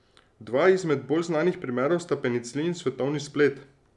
Dva izmed bolj znanih primerov sta penicilin in svetovni splet.